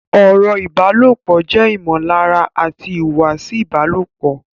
Ọ̀rọ̀ ìbálòpọ̀ jẹ́ ìmọ̀lára àti ìhùwàsí ìbálòpọ̀